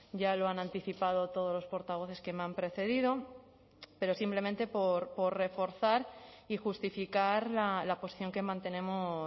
ya lo han anticipado todos los portavoces que me han precedido pero simplemente por reforzar y justificar la posición que mantenemos